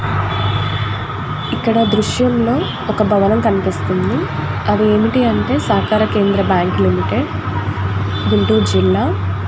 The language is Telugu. ఇక్కడ దృశ్యంలో ఒక భవనం కనిపిస్తుంది అవి ఏమిటి అంటే సహకార కేంద్ర బ్యాంకు లిమిటెడ్ గుంటూరు జిల్లా.